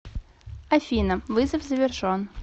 афина вызов завершен